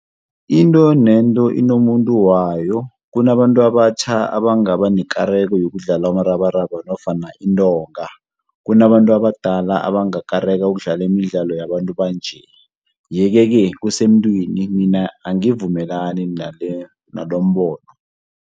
Into nento inomuntu wayo, kunabantu abatjha abangaba nekareko yokudlala umrabaraba nofana intonga. Kunabantu abadala abangakareka ukudlala imidlalo yabantu banje, ye-ke kusemntwini mina angivumelani nalombono.